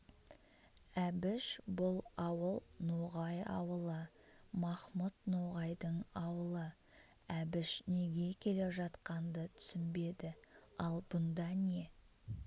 әбіш бұл ауыл ноғай ауылы махмұт ноғайдың аулы әбіш неге келе жатқанды түсінбеді ал бұнда не